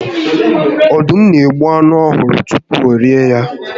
Ọdụm n'egbu anụ ọhụrụ tupu orie ya